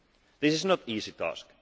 This is no easy task.